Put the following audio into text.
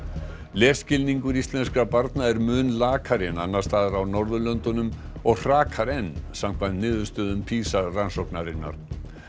lesskilningur íslenskra barna er mun lakari en annars staðar á Norðurlöndunum og hrakar enn samkvæmt niðurstöðum PISA rannsóknarinnar